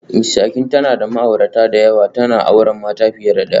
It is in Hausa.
Mrs Akin tana da ma'aurata da yawa, tana auren mata fiye da daya